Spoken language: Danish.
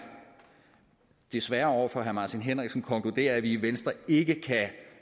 desværre over for herre martin henriksen konkludere at vi i venstre ikke kan